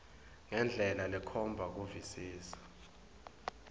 ngendlela lekhomba kuvisisa